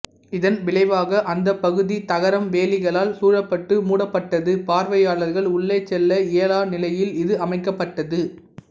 இதன் விளைவாக அந்த பகுதி தகரம் வேலிகளால் சூழப்பட்டு மூடப்பட்டது பார்வையாளர்கள் உள்ளே செல்ல இயலா நிலையில் இது அமைக்கப்பட்டது